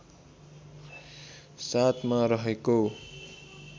७ मा रहेको